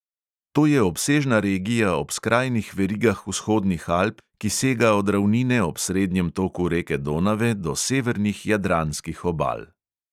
To je obsežna regija ob skrajnih verigah vzhodnih alp, ki sega od ravnine ob srednjem toku reke donave do severnih jadranskih obal.